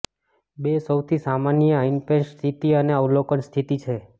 બે સૌથી સામાન્ય ઇનપેશન્ટ સ્થિતિ અને અવલોકન સ્થિતિ છે